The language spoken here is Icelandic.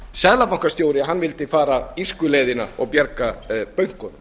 seðlabankastjóri vildi fara írsku leiðina og bjarga bönkunum